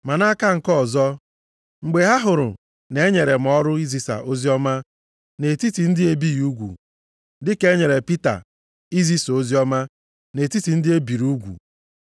Ma nʼaka nke ọzọ, mgbe ha hụrụ na e nyere m ọrụ izisa oziọma nʼetiti ndị e bighị ugwu, dịka e nyere Pita izisa oziọma nʼetiti ndị e biri ugwu.